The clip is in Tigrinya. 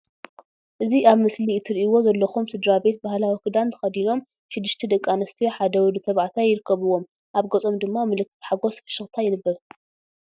እዚ ኣብ ምስሊ እትሪእዎን ዘለኩም ስድራ ቤት ባህላዊ ክዳን ተከዲኖም ሽድሽተ ደቂ ኣንስትዮ ሓደ ወዲ ተባዕታይ ይርከብዎም ኣብ ገጾም ድማ ምልክት ሓጎስ ፍሽክታ ይንበብ።